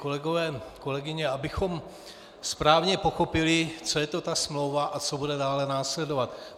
Kolegové, kolegyně, abychom správně pochopili, co je to ta smlouva a co bude dále následovat.